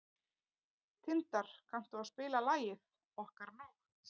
Tindar, kanntu að spila lagið „Okkar nótt“?